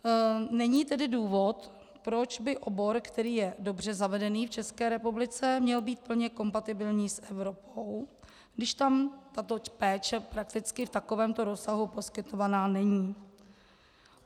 Není tedy důvod, proč by obor, který je dobře zavedený v České republice, měl být plně kompatibilní s Evropou, když tam tato péče prakticky v takovémto rozsahu poskytovaná není.